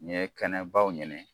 N ye kɛnɛ babaw ɲini.